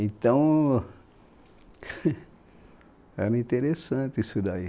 Então, era interessante isso daí.